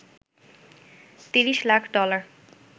৩০ lakh dollar